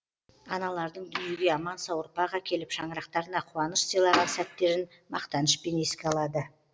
аналардың дүниеге аман сау ұрпақ әкеліп шаңырақтарына қуаныш сыйлаған сәттерін мақтанышпен еске алады